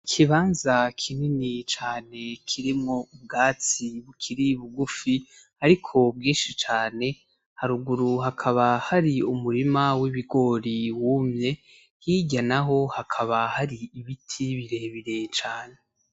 Ikibanza kinini cane kirimwo ubwatsi bukiri bugufi ariko bwinshi cane, haruguru hakaba hari umurima w'ibigori wumye hirya naho hakaba hari ibiti birebire cane.